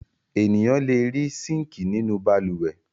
Ènìyàn le rí síńkì nínú balùwẹ̀.